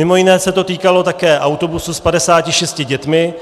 Mimo jiné se to týkalo také autobusu s 56 dětmi,